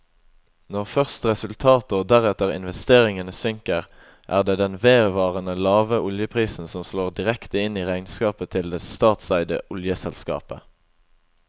Når først resultatet og deretter investeringene synker, er det den vedvarende lave oljeprisen som slår direkte inn i regnskapet til det statseide oljeselskapet.